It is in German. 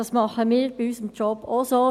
Das tun wir in unserem Job auch.